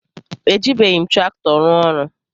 Ejibeghim traktọ rụọ ọrụ.